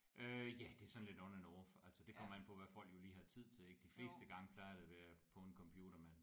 Øh ja det er sådan lidt on and off altså det kommer an på hvad folk jo lige har tid til ik de fleste gange plejer det at være på en computer man